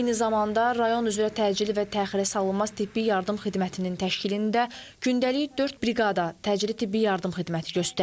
Eyni zamanda rayon üzrə təcili və təxirəsalınmaz tibbi yardım xidmətinin təşkilində gündəlik dörd briqada təcili tibbi yardım xidməti göstərir.